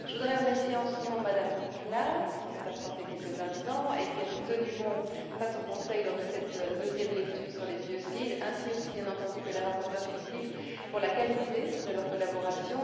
Je voudrais remercier, en son nom, Mme Klass, qui s'est absentée quelques instants et qui a tenu bon face au Conseil lors de cette deuxième lecture sur les biocides, ainsi aussi, bien entendu, que les rapporteurs fictifs, pour la qualité de leur collaboration.